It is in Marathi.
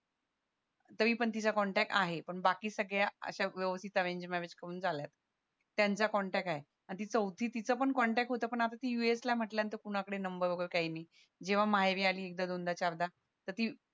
तरी पण तिचा आहे पण बाकी सगळ्या अश्या व्यवस्तीत अरेंज मॅरेज करून झाल्यात त्यांचा कॉन्टॅक्ट आहे आणि ती चौथी तिचा पण कॉन्टॅक्ट होता पण आता ती usa ला आहे म्हणाल्या नंतर कुणाकडे नंबर वैगेरे काही नाही जेव्हा माहेरी आली एकदा दोनदा चारदा तर ती